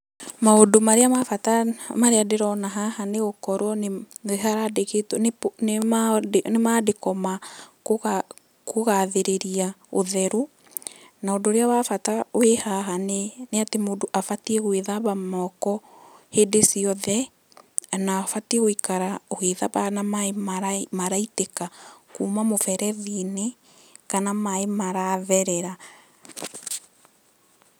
Maũndũ marĩa ma bata marĩa ndĩrona haha nĩ gũkorwo nĩ handĩkĩtwo nĩ mandĩko ma kũgathĩrĩria ũtheru. Na ũndũ ũrĩa wa bata wĩ haha nĩ atĩ mũndũ abatiĩ gũĩthamba moko hĩndĩ ciothe, na abatiĩ gũikara ũgĩthambaga na maĩ maraitĩka kuma mũberethi-inĩ kana maĩ maratherera.